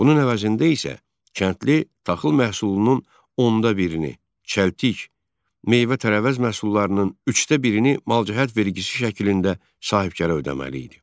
Bunun əvəzində isə kəndli taxıl məhsulunun onda birini, çəltik, meyvə-tərəvəz məhsullarının üçdə birini malcəhət vergisi şəklində sahibkara ödəməli idi.